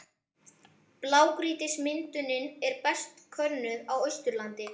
Blágrýtismyndunin er best könnuð á Austurlandi.